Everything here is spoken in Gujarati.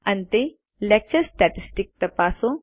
અંતે લેક્ચર સ્ટેટિસ્ટિક્સ તપાસો